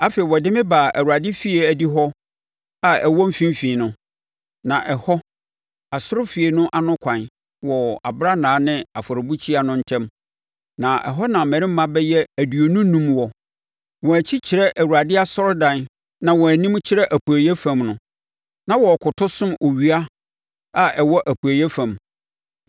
Afei, ɔde me baa Awurade efie adihɔ a ɛwɔ mfimfini no, na ɛhɔ, asɔrefie no ano kwan, wɔ abrannaa ne afɔrebukyia no ntam, na ɛhɔ na mmarimma bɛyɛ aduonu enum wɔ. Wɔn akyi kyerɛ Awurade asɔredan na wɔn anim kyerɛ apueeɛ fam no, na wɔrekoto som owia a ɛwɔ apueeɛ fam.